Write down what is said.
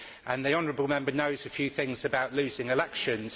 The honourable Member knows a few things about losing elections.